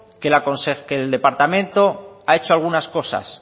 que el departamento ha hecho algunas cosas